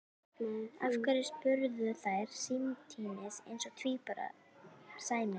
Af hverju? spurðu þær samtímis eins og tvíburum sæmir.